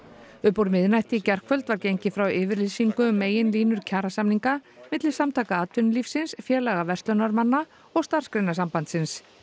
upp úr miðnætti í gærkvöld var gengið frá yfirlýsingu um meginlínur kjarasamninga milli Samtaka atvinnulífsins félaga verslunarmanna og Starfsgreinasambandsins